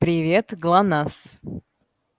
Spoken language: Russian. привет глонассс